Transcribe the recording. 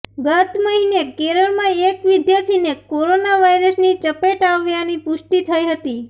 ગત મહિને કેરળમાં એક વિદ્યાર્થીને કોરોના વાયરસની ચપેટ આવ્યાની પુષ્ટી થઈ હતી